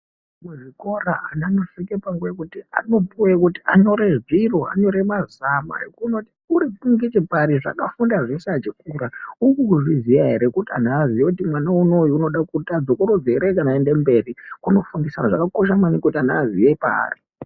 Muzvikora anosvika panguwa yekuti anopuwa nguwa yekuti anyore zviro, anyore mazama ekuona kuti uri ngechepari, zvaakafunda kubva achikura uchiri kuzviziya ere kuti anhu aziye kuti mwana unou unoda kuti adzokorodze ere kana kuti afunde achienda mberi, unofundisa zvakakosha maningi kuti ana aziye paari.